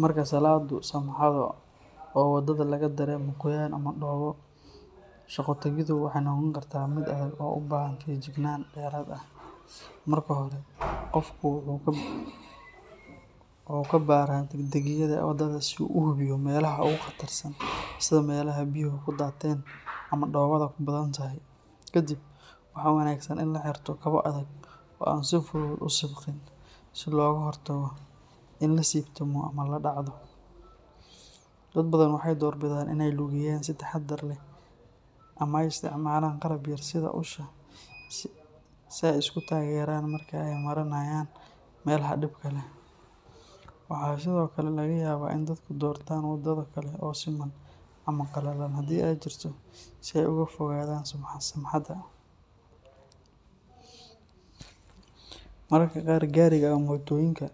Marka salaaddu samxado oo waddada laga dareemo qoyaan ama dhoobo, shaqo-tagiddu waxay noqon kartaa mid adag oo u baahan feejignaan dheeraad ah. Marka hore, qofku wuxuu ka baaraa degdegayaa waddada si uu u hubiyo meelaha ugu khatarsan sida meelaha biyuhu ku daateen ama dhoobada ku badan tahay. Kadib, waxaa wanaagsan in la xirto kabo adag oo aan si fudud u sibqin, si looga hortago in la siibtamo ama la dhacdo. Dad badan waxay doorbidaan inay lugeeyaan si taxaddar leh ama ay isticmaalaan qalab yar sida usha si ay isku taageeraan marka ay marinayaan meelaha dhibka leh. Waxaa sidoo kale laga yaabaa in dadku doortaan waddo kale oo siman ama qalalan haddii ay jirto si ay uga fogaadaan samxada. Mararka qaar, gaariga ama mootooyinka